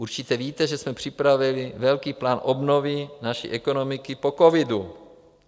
Určitě víte, že jsme připravili velký plán obnovy naší ekonomiky po covidu.